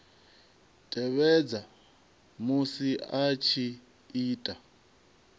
tevhedza musi a tshi ita